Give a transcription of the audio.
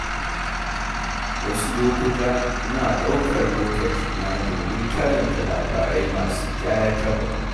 A wasu lokuta, ina ɗaukar lokaci na domin karanta labarai masu ƙayatarwa.